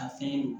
Ka fɛn